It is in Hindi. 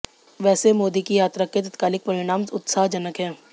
वैसे मोदी की यात्रा के तात्कालिक परिणाम उत्साहजनक हैं